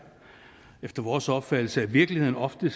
efter vores opfattelse at virkeligheden ofte